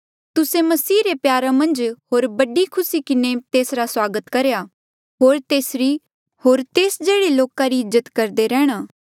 तुस्से मसीह रे प्यारा मन्झ होर बड़ी खुसी किन्हें तेसरा स्वागत करेया होर तेसरी होर तेस जेह्ड़े लोका री इज्जत करदे रैंह्णां